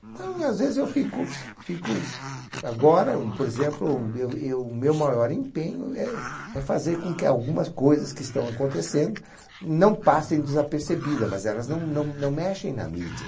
Então, às vezes, eu fico, fico... Agora, por exemplo, eu eu meu maior empenho é é fazer com que algumas coisas que estão acontecendo não passem desapercebidas, mas elas não não não mexem na mídia.